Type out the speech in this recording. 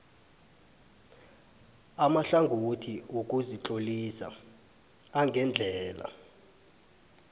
amahlangothi wokuzitlolisa angendlela